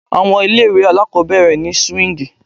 Àwọn ilé ìwé aláàkọ́bẹ̀rẹ̀ ni swíǹgì.